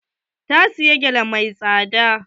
Ta siyi gele mai tsada.